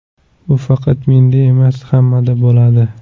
Bu faqat menda emas, hammada bo‘ladi.